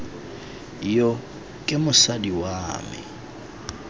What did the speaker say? yo ke mosadi wa me